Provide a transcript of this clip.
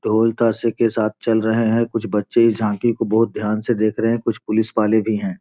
ढोल-तासे के साथ चल रहे हैं कुछ बच्चे इस झांकी को बहुत ध्यान से देख रहे है कुछ पुलिस वाले भी हैं।